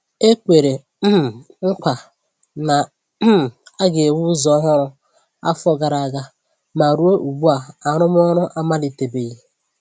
E kwèrè um nkwa na um a ga-ewu ụzọ ọhụrụ afọ gara aga, ma ruo ugbu a, arụmọrụ amalite-beghi